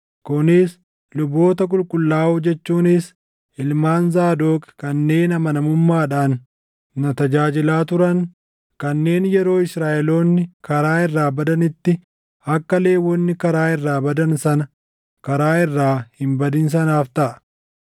Kunis luboota qulqullaaʼoo jechuunis ilmaan Zaadoq kanneen amanamummaadhaan na tajaajilaa turan kanneen yeroo Israaʼeloonni karaa irraa badanitti akka Lewwonni karaa irraa badan sana karaa irraa hin badin sanaaf taʼa.